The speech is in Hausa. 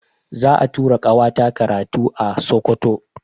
Za'a tura ƙawata karatu a Sokoto.